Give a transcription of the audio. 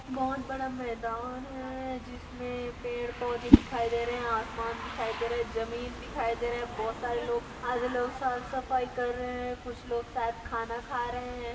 बहोत बड़ा मैदान है जिसमे पेड़ पौधे दिखाई दे रहे हैं आसमान दिखाई दे रहा है जमीन दिखाई दे रहा है बहोत सारे लोग-- आधे लोग साफ सफाई कर रहे हैं कुछ लोग साथ खाना खा रहे है।